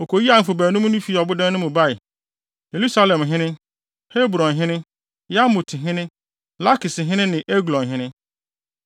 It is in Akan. Wokoyii ahemfo baanum no fii ɔbodan no mu bae: Yerusalemhene, Hebronhene, Yarmuthene, Lakishene ne Eglonhene.